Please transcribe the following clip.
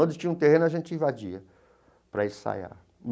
Onde tinha um terreno, a gente invadia para ensaiar.